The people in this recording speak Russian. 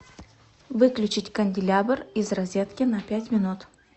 выключить канделябр из розетки на пять минут